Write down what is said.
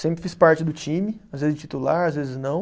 Sempre fiz parte do time, às vezes titular, às vezes não.